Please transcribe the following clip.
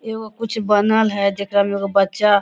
ए ओ कुछ बनल है जेकर लोग बच्चा --